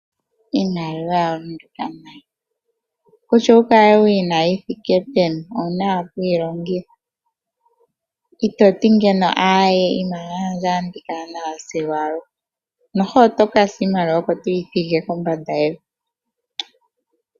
Iimaliwa oya lunduka nayi. Kutya owu kale wu yi na yi thike peni, owu na owala okuyi longitha. Ito ti ngeno, aaye, iimaliwa yandje otandi kala nayo sigo aluhe, ishewe oto ka sa niimaliwa oko toyi thigi kombanda yevi.